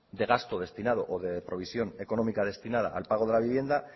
de gasto destinado o de provisión económica destinada al pago de la vivienda